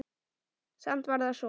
Samt var það svo.